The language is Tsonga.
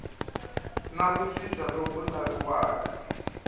na ku cinca loku laviwaka